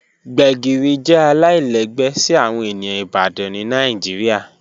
Gbegiri jẹ alailẹgbẹ si awọn eniyan Ibadan ni Nigeria